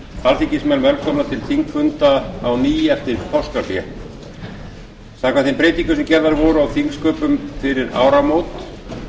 alþingismenn velkomna til þingfunda á ný eftir páskahlé samkvæmt þeim breytingum sem gerðar voru á þingsköpum fyrir áramót